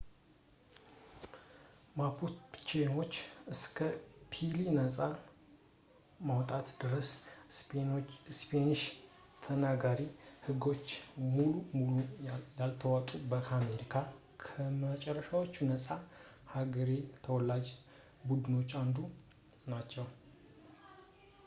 ማፑቼዎች እስከ ቺሊ ነጻ መውጣት ድረስ በስፓኒሽ ተናጋሪ ህጎች ሙሉ በሙሉ ያልተዋጡ ከአሜሪካ ከመጨረሻዎቹ ነጻ የአገሬው ተወላጅ ቡድኖች አንዱ ናቸው